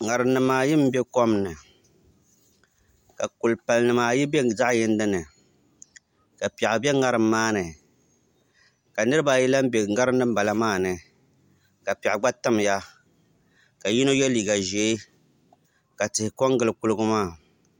ŋarim nim ayi n bɛ kom ni ka kulipali nim bɛ zaɣ yinga ni ka piɛɣu bɛ ŋarim maa ni ka niraba ayi lahi bɛ ŋarim dinbala maa ni ka piɛɣu gba tamya ka yino yɛ liiga ʒiɛ ka tihi ko n gili kuligi maa